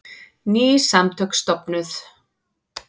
Ný samtök stofnuð